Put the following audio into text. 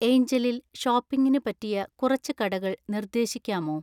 എയ്ഞ്ചലിൽ ഷോപ്പിംഗിന് പറ്റിയ കുറച്ച് കടകൾ നിർദേശിക്കാമോ